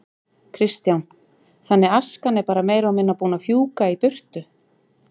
Kristján: Þannig askan er bara meira og minna búin að fjúka í burtu?